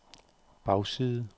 bagside